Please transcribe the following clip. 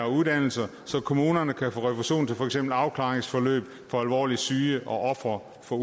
uddannelser så kommunerne kan få refusion til for eksempel afklaringsforløb for alvorligt syge og ofre for